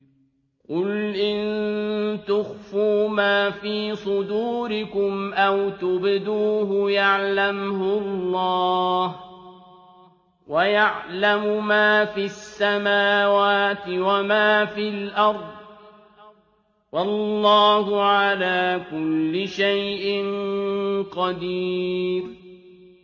قُلْ إِن تُخْفُوا مَا فِي صُدُورِكُمْ أَوْ تُبْدُوهُ يَعْلَمْهُ اللَّهُ ۗ وَيَعْلَمُ مَا فِي السَّمَاوَاتِ وَمَا فِي الْأَرْضِ ۗ وَاللَّهُ عَلَىٰ كُلِّ شَيْءٍ قَدِيرٌ